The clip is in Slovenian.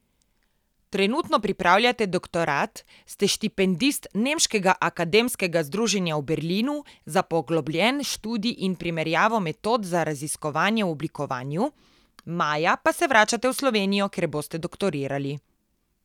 Trenutno pripravljate doktorat, ste štipendist Nemškega akademskega združenja v Berlinu za poglobljen študij in primerjavo metod za raziskovanje v oblikovanju, maja pa se vračate v Slovenijo, kjer boste doktorirali.